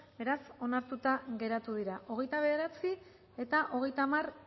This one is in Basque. beraz onartuta geratu dira hogeita bederatzi eta hogeita hamar